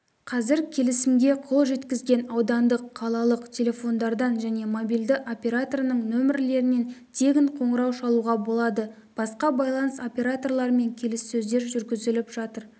қазір келісімге қол жеткізген аудандық қалалық телефондардан және мобильді операторының нөмірлерінен тегін қоңырау шалуға болады басқа байланыс операторларымен келіссөздер жүргізіліп жатыр